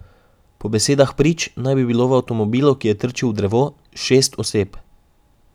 Po besedah prič naj bi bilo v avtomobilu, ki je trčil v drevo, šest oseb.